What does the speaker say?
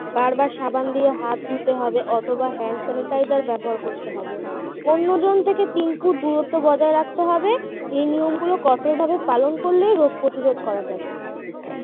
বারবার সাবান দিয়ে হাত ধুতে হবে অথবা hand sanitizer ব্যবহার করতে হবে অন্যজন থেকে তিন ফুট দূরত্ব বজায় রাখতে হবে এই নিয়মগুলো কঠোরভাবে পালন করলে রোগ প্রতিরোধ করা যাবে